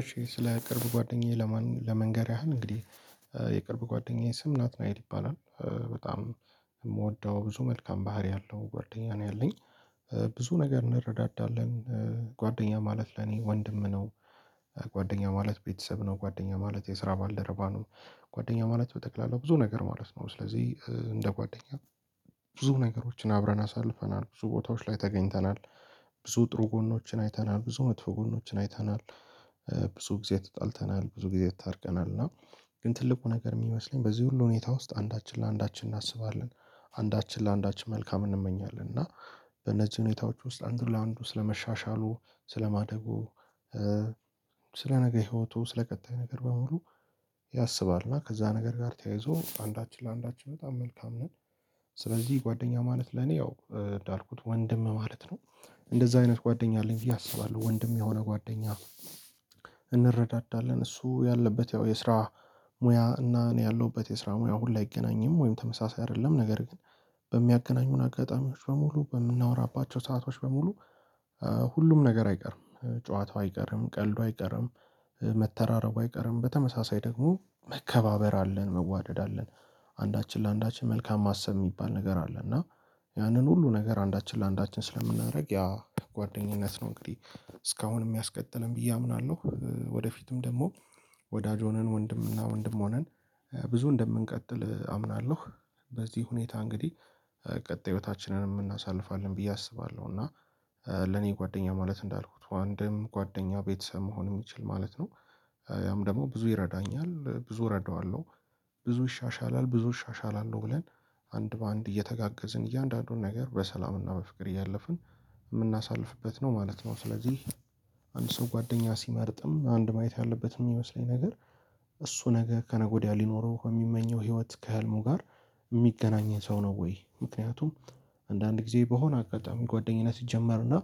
እሺ ስለ ቅርብ ጓደኛዬ ለመንገር ያህል እንግዲህ የቅርብ ጓደኛዬ ስም ናትናኤል ይባላል። በጣም የምወደው ብዙ መልካም ባህሪ የለው ጓደኛ ነው ያለኝ ብዙ ነገር እንረዳዳለን ጓደኛ ማለት ለኔ ወንድም ነው። ጓደኛ ማለት ቤተሰብ ነው ጓደኛ ማለት የስራ ባልደረባ ነው። ጓደኛ ማለት በጠቅላላው ብዙ ነገር ማለት ነው ስለዚህ እንደ ጓደኛ። ብዙ ነገሮችን አብረን አሳልፈናል ብዙ ቦታዎች ላይ ተገኝተናል። ብዙ ጥሩ ጎኖችን አይተናል ብዙ መጥፎ ጎኖችን አይተናል። ብዙ ጊዜ ተጣልተናል ብዙ ጊዜ ታርቀናል እና ግን ትልቁ ነገር የሚመስለኝ በዚህ ሁሉ ሁኔታ ውስጥ አንዳችን ለአንዳችን እናስባለን። አንዳችን ለአንዳችን መልካም እንመኛለን እና በነዚህ ሁኔታዎች ውስጥ አንዱ ለአንዱ ስለመሻሻሉ ስለማደጉ ስለ ነገ ህይወቱ ስለ ቀጣይ ነገር በሙሉ ያስባል እና ከዛ ነገር ጋር ተያይዞ አንዳችን ለአንዳችን በጣም መልካም ነን። ስለዚህ ጓደኛ ማለት ለኔ ያው እንዳልኩት ወንድም ማለት ነው። እንደዛ አይነት ጓደኛ አለኝ ብየ አስባለሁ ወንድም የሆነ ጓደኛ። እንረዳዳለን እሱ ያለበት ያው የስራ ሙያ እና እኔ ያለሁበት የስራ ሙያ አሁን ላይ አይገናኝም ወይም ተመሳሳይ አይደለም ነገር ግን በሚያገናኙን አጋጣሚዎች በሙሉ በምናወራባቸው ሰአቶች በሙሉ ሁሉም ነገር አይቀርም። ጨዋታው አይቀርም ቀልዱ አይቀርም መተራረቡ አይቀርም በተመሳሳይ ደግሞ መከባበር አለን መዋደድ አለን። አንዳችን ለአንዳችን መልካም ማሰብ የሚባል ነገር አለ እና ያንን ሁሉ ነገር አንዳችን ለአንዳችን ስለምናደርግ ያ ጥሩ ጓደኝነት ነው። እንግዲህ እስካሁንም ያስቀጠለን ብዬ አምናለሁ ወደፊትም ደግሞ ወዳጅ ሆነን ወንድምና ወንድም ሆነን ብዙ እንደምንቀጥል አምናለሁ። በዚህ ሁኔታ እንግዲህ ቀጣይ ህይወታችንንም እናሳልፋለን ብዬ አስባለሁ እና። ለኔ ጓደኛ ማለት እንዳልኩት ወንድም ጓደኛ ቤተሰብ መሆን የሚችል ማለት ነው። ያም ደግሞ ብዙ ይረዳኛል ብዙ እረዳዋለሁ ብዙ ይሻሻላል ብዙ እሻሻላለሁ ብለን አንድ በአንድ እየተጋገዝን እያንዳንዱን ነገር በሰላምና በፍቅር እያለፍን እምናሳልፍበት ነው ማለት ነው ስለዚህ። አንድ ሰው ጓደኛ ሲመርጥም አንድ ማየት ያለበት የሚመስለኝ ነገር እሱ ነገ ከነገ ወዲያ ሊኖረው የሚመኘው ህይወት ከህልሙ ጋር የሚገናኘው ሰው ነው ወይ ምክንያቱም? አንዳንድ ጊዜ በሆነ አጋጣሚ ጓደኝነት ይጀመር እና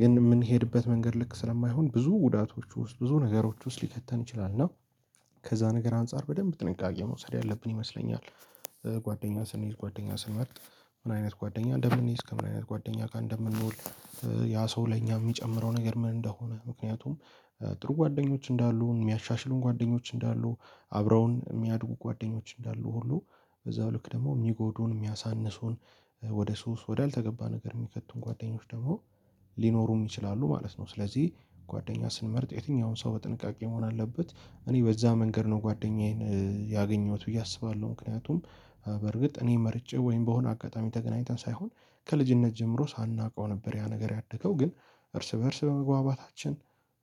ግን የምንሄድበት መንገድ ልክ ስለማይሆን ብዙ ጉዳቶች ውስጥ ብዙ ነገሮች ውስጥ ሊከተን ይችላል እና ከዛ ነገር አንፃር በደንብ ጥንቃቄ መውሰድ ያለብን ይመስለኛል። ጓደኛ ስንይዝ ጓደኛ ስንመርጥ ምን አይነት ጓደኛ እንደምንይዝ ከምን አይነት ጓደኛ ጋር እንደምንውል? ያ ሰው ለኛ የሚጨምረው ነገር ምን እንደሆነ ምክንያቱም። ጥሩ ጓደኞች እንዳሉን የሚያሻሽሉን ጓደኞች እንዳሉ አብረውን የሚያድጉ ጓደኞች እንዳሉ ሁሉ በዛው ልክ ደግሞ የሚጎዱን የሚያሳንሱን ወደ ሶስ ወዳልተገባ ነገር የሚከቱን ጓደኞች ደግሞ ሊኖሩም ይችላሉ ማለት ነው። ስለዚህ ጓደኛ ስንመርጥ የትኛውን ሰው በጥንቃቄ መሆን አለበት እኔ በዛ መንገድ ነው ጓደኛዬን ያገኘሁት ብዬ አስባለሁ። ምክንያቱም በርግጥ እኔ መርጬ ወይም በሆነ አጋጣሚ ተገናኝተን ሳይሆን ከልጅነት ጀምሮ ሳናውቀው ነበር ያ ነገር ያደገው ግን እርስ በእርስ በመግባባታችን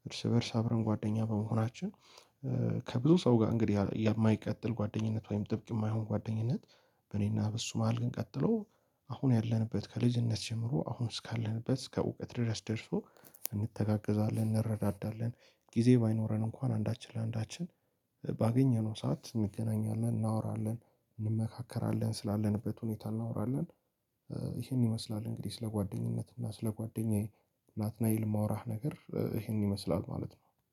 እርስ በእርስ አብረን ጓደኛ በመሆናችን ከብዙ ሰው ጋር እንግዲህ የማይቀጥል ጓደኝነት ወይም ጥብቅ የማይሆን ጓደኝነት። በእኔና በእሱ መሃል ግን ቀጥሎ አሁን ያለንበት ከልጅነት ጀምሮ አሁን እስካለንበት እስከ እውቀት ድረስ ደርሶ እንተጋገዛለን እንረዳዳለን ጊዜ ባይኖረን እንኳን አንዳችን ለአንዳችን ባገኘነው ሰዓት እንገናኛለን እናወራለን እንመካከራለን ስላለንበት ሁኔታ እናወራለን። ይሄን ይመስላል እንግዲህ ስለ ጓደኝነት እና ስለ ጓደኛዬ ናትናኤል የማወራህ ነገር ይሄን ይመስላል ማለት ነው